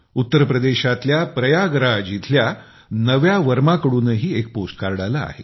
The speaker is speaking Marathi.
उत्तर प्रदेशातल्या प्रयागराज इथल्या नव्या वर्मा कडूनही एक पोस्ट कार्ड आले आहे